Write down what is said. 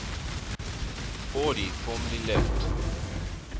audi formally left